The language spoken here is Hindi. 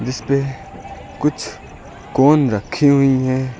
इसपे कुछ कोन रखी हुई है।